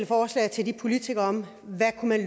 forslag til politikerne om hvad man